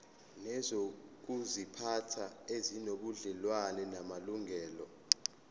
nezokuziphatha ezinobudlelwano namalungelo